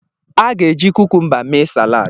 A ga-eji kukumba mee salad.